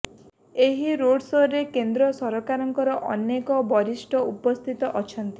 ଏହି ରୋଡ଼ସୋରେ କେନ୍ଦ୍ର ସରକାରଙ୍କ ଅନେକ ବରିଷ୍ଠ ଉପସ୍ଥିତ ଅଛନ୍ତି